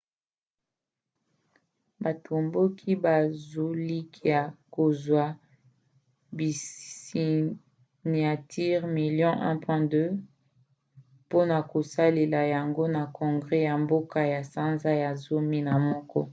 batomboki bazolikia kozwa basiniatire milio 1,2 mpona kopesa yango na congre ya mboka na sanza ya zomi na moko